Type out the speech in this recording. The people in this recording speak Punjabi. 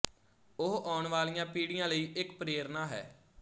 ਉਹ ਆਉਣ ਵਾਲੀਆਂ ਪੀੜ੍ਹੀਆਂ ਲਈ ਇੱਕ ਪ੍ਰੇਰਣਾ ਹੈ